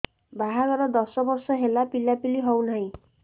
ବାହାଘର ଦଶ ବର୍ଷ ହେଲା ପିଲାପିଲି ହଉନାହି